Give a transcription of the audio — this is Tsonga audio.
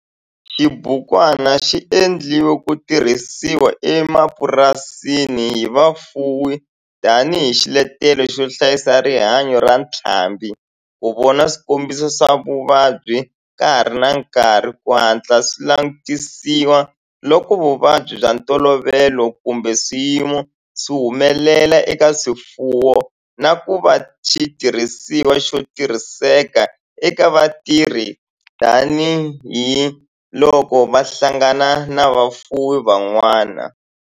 Xibukwana xi endliwe ku tirhisiwa emapurasini hi vafuwi tani hi xiletelo xo hlayisa rihanyo ra ntlhambhi, ku vona swikombiso swa vuvabyi ka ha ri na nkarhi ku hatla swi langutisiwa loko vuvabyi bya ntolovelo kumbe swiyimo swi humelela eka swifuwo, na ku va xitirhisiwa xo tirhiseka eka vatirhi tani hi loko va hlangana na vafuwi van'wana.